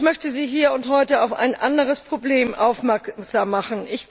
Ich möchte Sie hier und heute auf ein anderes Problem aufmerksam machen.